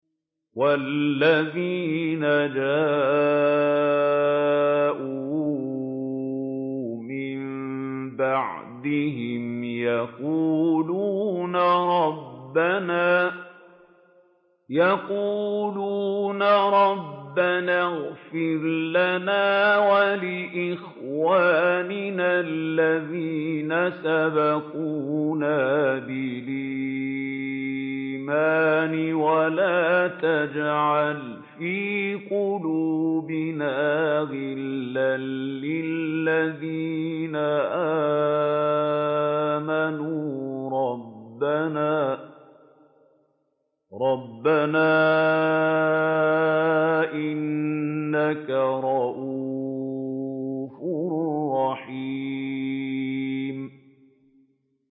وَالَّذِينَ جَاءُوا مِن بَعْدِهِمْ يَقُولُونَ رَبَّنَا اغْفِرْ لَنَا وَلِإِخْوَانِنَا الَّذِينَ سَبَقُونَا بِالْإِيمَانِ وَلَا تَجْعَلْ فِي قُلُوبِنَا غِلًّا لِّلَّذِينَ آمَنُوا رَبَّنَا إِنَّكَ رَءُوفٌ رَّحِيمٌ